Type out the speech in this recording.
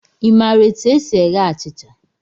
I maara etu e si eghe achịcha?